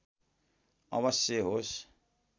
अवश्य होस्